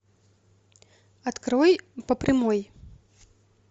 открой по прямой